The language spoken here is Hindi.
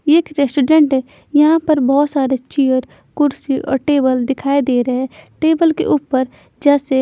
ये एक रेस्तोजेंट यहाँ पर बहुत सारे चेयर कुर्सी और टेबल दिखाई दे रहे हैं टेबल के ऊपर जैसे--